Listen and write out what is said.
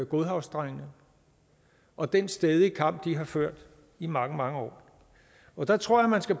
godhavnsdrengene og den stædige kamp de har ført i mange mange år der tror jeg man skal